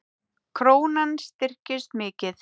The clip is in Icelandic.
Krónan styrkist mikið